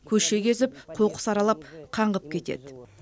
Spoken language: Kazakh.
көше кезіп қоқыс аралап қаңғып кетеді